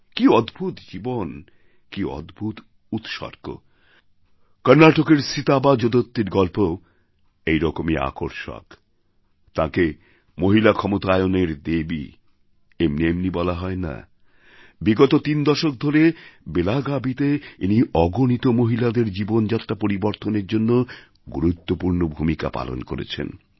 কী অদ্ভুত জীবন কী অদ্ভুত উৎসর্গ কর্ণাটকের সিতাবা জোদত্তির গল্পও এইরকমই আকর্ষক তাঁকে মহিলা ক্ষমতায়নের দেবী এমনি এমনি বলা হয় না বিগত তিন দশক ধরে বেলাগাবীতে ইনি অগণিত মহিলাদের জীবনযাত্রা পরিবর্তনের জন্য গুরুত্বপূর্ণ ভূমিকা পালন করেছেন